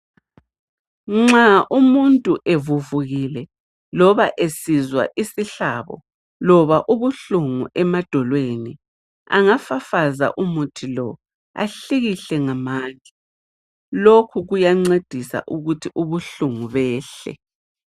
Nxa umuntu evuvukile loba esizwa isihlabo loba ubuhlungu emadolweni angafafaza umuthi lo ahlikihle ngamandla lokhu kuyancedisa ukuthi ubuhlungu behle.